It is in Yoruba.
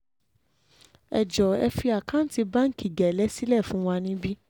ẹ jọ̀ọ́ ẹ fi àkáǹtì báǹkì gélé sílẹ̀ fún wa níbí